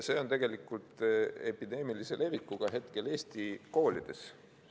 See on hetkel tegelikult epideemilise levikuga Eesti koolides.